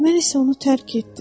Mən isə onu tərk etdim.